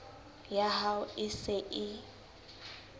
ya hao e se e